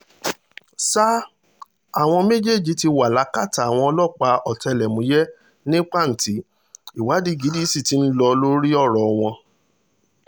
ṣá àwọn méjèèjì ti wà lákàtà àwọn ọlọ́pàá ọ̀tẹlẹ̀múyẹ́ ni pàǹtí ìwádìí gidi sì ti ń lọ lórí ọ̀rọ̀ wọn